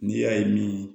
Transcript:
N'i y'a ye min